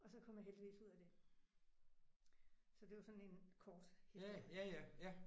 Og så kom jeg heldigvis ud af det. Så det var sådan en kort historie